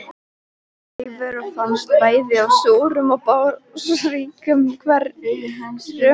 Lífverur finnast bæði í súrum og basískum hverum.